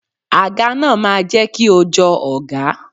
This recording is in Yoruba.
Àga náà máa jẹ́ kí o jọ ọọ̀gá.